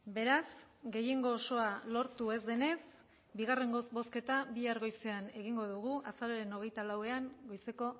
beraz gehiengo osoa lortu ez denez bigarren bozketa bihar goizean egingo dugu azaroaren hogeita lauan goizeko